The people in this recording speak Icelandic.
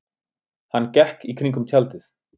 Hann gekk í kringum tjaldið.